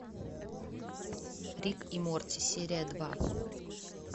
рик и морти серия два